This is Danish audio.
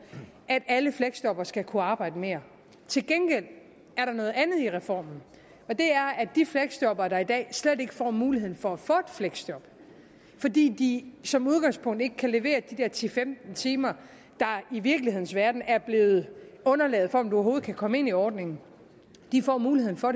at alle fleksjobbere skal kunne arbejde mere til gengæld er der noget andet i reformen og det er at de fleksjobbere der i dag slet ikke får mulighed for at få et fleksjob fordi de som udgangspunkt ikke kan levere de der ti til femten timer der i virkelighedens verden er blevet underlaget for om man overhovedet kan komme ind i ordningen nu får mulighed for